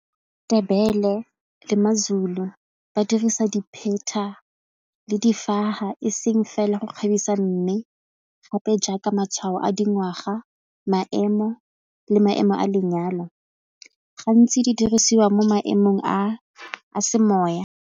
Ndebele le maZulu ba dirisa dipheta le difaga e seng fela go kgabisa mme gape jaaka matshwao a dingwaga maemo le maemo a lenyalo gantsi di dirisiwa mo maemong a semoya.